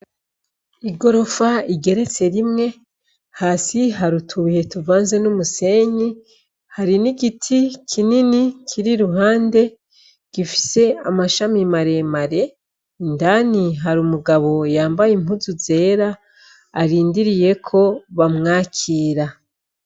Igorofa igeretse rimwe. Hasi hari utubuye tuvanze n'umusenyi. Hari n'igiti kinini kiri iruhande gifise amashami maremare. Indani har’umugabo yambaye impuzu zera arindiriye ko bamwakira.